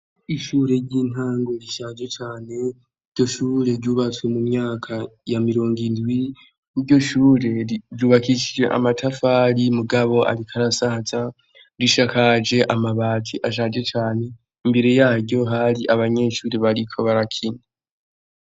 Ishure ry'intango rishaje cane. Iryo shure ryubatswe mu myaka ya mirongo indwi. Iryo shure ryubakishijwe amatafari, mugabo ariko arasaza. Risakaje amabati ashaje cane. Imbere yaryo, hari abanyeshure bariko barakina.